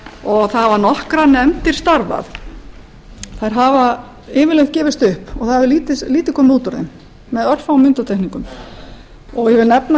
og það hafa nokkrar nefndir starfar þær hafa yfirleitt gefist upp og það hefur lítið komið út úr þeim með örfáum undantekningum ég vil nefna